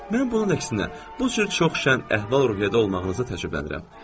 Mən bunun əksinə, bu cür çox şəh əhval-ruhiyyədə olmağımıza təəccüblənirəm.